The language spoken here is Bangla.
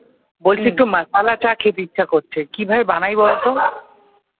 বলছি একটু masala চা খেতে ইচ্ছা করছে কিভাবে বানায় বলতো?